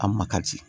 A makari